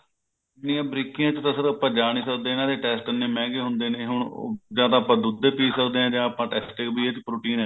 ਇਹਨੀਂ ਬਰੀਕੀਆਂ ਚ ਤਾਂ sir ਆਪਾਂ ਜਾ ਨਹੀਂ ਸੱਕਦੇ ਇਹਨਾਂ ਦੇ test ਇਹਨੇ ਮਹਿੰਗੇ ਹੁੰਦੇ ਨੇ ਹੁਣ ਉਹ ਜਾ ਤਾਂ ਆਪਾਂ ਦੁੱਧ ਏ ਪੀ ਸੱਕਦੇ ਹਾਂ ਜਾ ਆਪਾਂ test ਏ ਵੀ ਇਸ ਚ protein ਹੈਗਾ